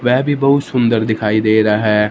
वह भी बहुत सुंदर दिखाई दे रहा है।